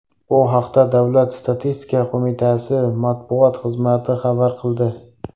Bu haqda Davlat statistika qo‘mitasi matbuot xizmati xabar qildi .